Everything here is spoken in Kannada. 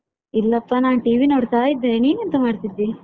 ಇಲ್ಲಪ್ಪ ನಾನು TV ನೋಡ್ತಾ ಇದ್ದೇನೆ ನಿನ್ ಎಂತ ಮಾಡ್ತಿದ್ದಿ?